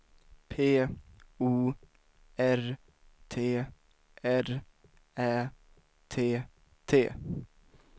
P O R T R Ä T T